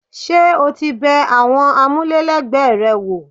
Ṣé o ti bẹ àwọn amule lẹgbẹ rẹ wò?